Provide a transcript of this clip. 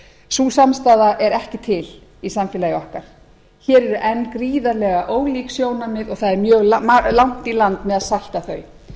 sú samstaða er ekki til í samfélagi okkar hér eru enn gríðarlega ólík sjónarmið og það er mjög langt í land með að salta